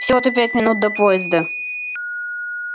всего-то пять минут до поезда